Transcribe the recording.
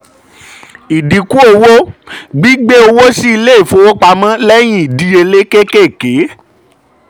ìdínkù owó: gbigbẹ owó sí ilé-ifowopamọ́ lẹ́yìn ìdíyelé kékèké.